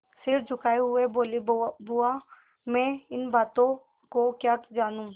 सिर झुकाये हुए बोलीबुआ मैं इन बातों को क्या जानूँ